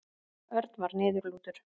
Örn var niðurlútur.